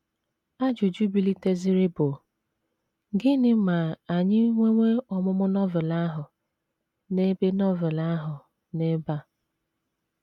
Ajụjụ biliteziri bụ: “ Gịnị ma anyị nwewa ọmụmụ Novel ahụ n’ebe Novel ahụ n’ebe a? ”